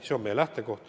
See on meie lähtekoht.